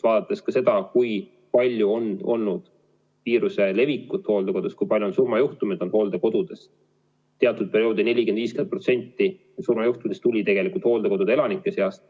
Vaadakem seda, kui palju on olnud viiruse levikut hooldekodudes, kui palju on surmajuhte hooldekodudes: teatud perioodil 40–50% surmajuhtudest tuli tegelikult hooldekodude elanike seast.